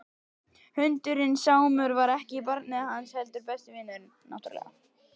Hundurinn Sámur var ekki barnið hans heldur besti vinurinn.